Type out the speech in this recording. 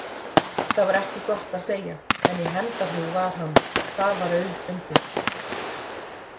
Það var ekki gott að segja, en í hefndarhug var hann, það var auðfundið.